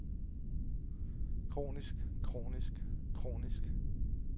kronisk kronisk kronisk